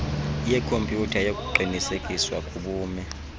yekhompyutha yokuqinisekiswa kobume